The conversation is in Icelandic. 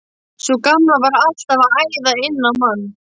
Sú gamla var alltaf að æða inn á mann.